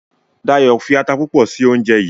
Dayo fí atá púpọ sí oúnjẹ yí.